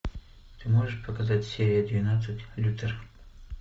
ты можешь показать серия двенадцать лютер